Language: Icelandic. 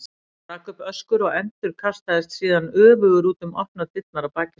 Hann rak upp öskur og endurkastaðist síðan öfugur út um opnar dyrnar að baki sér.